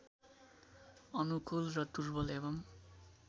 अनुकूल र दुर्बल एवं